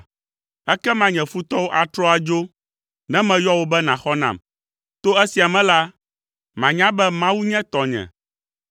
Ekema nye futɔwo atrɔ adzo, ne meyɔ wò be nàxɔ nam. To esia me la, manya be Mawu nye tɔnye.